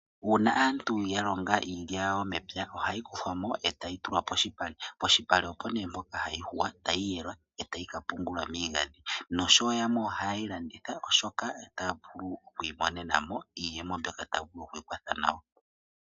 Una aantu ya longa iilya yawo mepya, ohayi kuthwa mo e tayi tulwa poshipale. Poshipale opo ne mpoka hayi huwa, tayi yelwa e tayi ka pungulwa miigadhi, noshowo yamwe ohayeyi landitha oshoka otaya vulu oku imonenamo iiyemo mbyoka taya vulu okwiikwatha nayo.